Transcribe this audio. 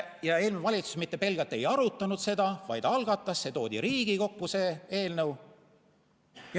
Ja eelmine valitsus mitte pelgalt ei arutanud seda, vaid algatas, see eelnõu toodi Riigikokku.